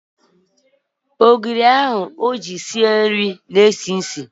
Ogiri ahụ o ji sie nri na-esi isi.